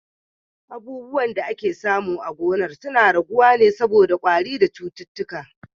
Abubuwan da ake samu a gonar suna raguwa saboda kwari da cututtuka.